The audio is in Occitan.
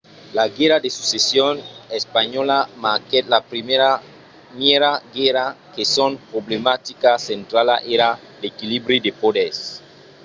la guèrra de succession espanhòla marquèt la primièra guèrra que son problematica centrala èra l’equilibri de poders